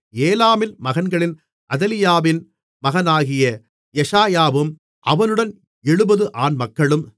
ஏலாமின் மகன்களில் அதலியாவின் மகனாகிய எஷாயாவும் அவனுடன் 70 ஆண்மக்களும்